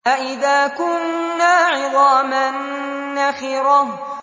أَإِذَا كُنَّا عِظَامًا نَّخِرَةً